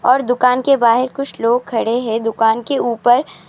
پر دکان کے باہر کچھ لوگ کھڑے ہیں دکان کے اوپر.